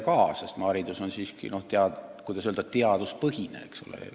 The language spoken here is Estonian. Haridussüsteem on siiski, kuidas öelda, teaduspõhine, eks ole.